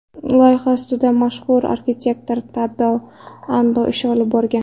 Loyiha ustida mashhur arxitektor Tadao Ando ish olib borgan.